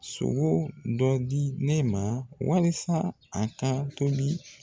Sogo dɔ di ne ma walasa a ka tobi